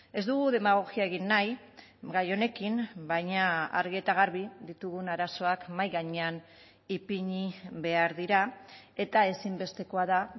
ez dugu demagogia egin nahi gai honekin baina argi eta garbi ditugun arazoak mahai gainean ipini behar dira eta ezinbestekoa da